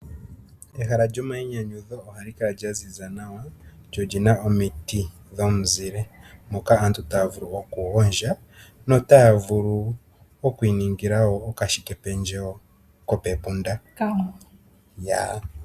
Ehala lyomainynyudho ohali kala lyaziza nawa lyo olyina wo omiti dhomuzile moka aantutaya vulu okugondja na otaya vulu okuningala wo okashike pendje wo kopepunda.